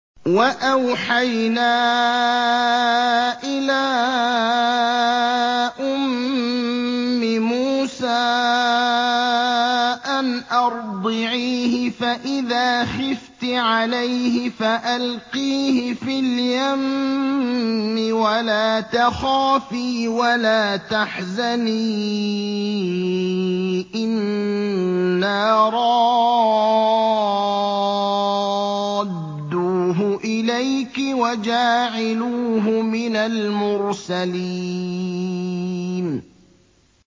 وَأَوْحَيْنَا إِلَىٰ أُمِّ مُوسَىٰ أَنْ أَرْضِعِيهِ ۖ فَإِذَا خِفْتِ عَلَيْهِ فَأَلْقِيهِ فِي الْيَمِّ وَلَا تَخَافِي وَلَا تَحْزَنِي ۖ إِنَّا رَادُّوهُ إِلَيْكِ وَجَاعِلُوهُ مِنَ الْمُرْسَلِينَ